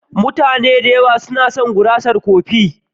Mutane da yawa suna son gurasar kofi.